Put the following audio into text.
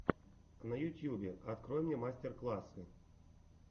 на ютьюбе открой мне мастер классы